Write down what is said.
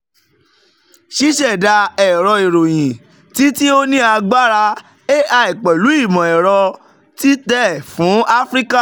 ṣiṣẹda ẹrọ iroyin ti ti o ni agbara ai pẹlu imọ-ẹrọ titẹ fun afirika